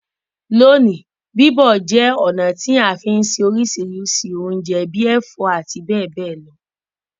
Loní, bíbọ̀ je ọ̀nà ti a fi n se orísìrísì ounje bi ẹ̀fó àti béè béè lo